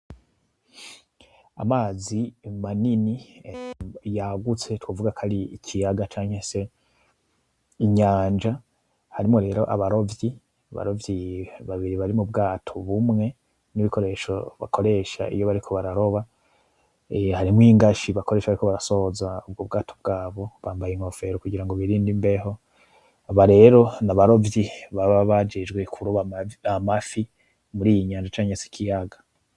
Amazi manini yagutse, twovuga ko ari ikiyaga canke inyanja ,harimwo rero abarovyi babiri bari mubwato bumwe nubwo bakoresha iyo bariko bararoba, harimwo n'ibikoresho bakoresha bariko bararoba, harimwo n' ingashi bakoresha bariko barasoza ubwo bwato bwabo .Bambaye inkofero kugirango birinde imbeho aba rero n'abarovyi baba bajejwe kuroba amafi muri iyi nyanja canke ikiyaga.